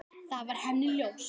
Það var henni ljóst.